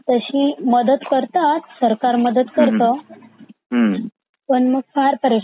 तशी मदत करतात सरकार मदत करत पण मग फार परेशानी होते.